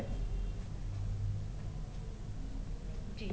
ਜੀ